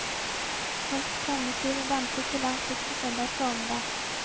Folk strømmet til og danset til langt ut på søndags formiddag.